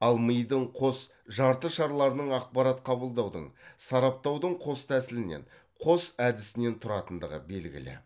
ал мидың қос жартышарларының ақпарат қабылдаудың сараптаудың қос тәсілінен қос әдісінен тұратындығы белгілі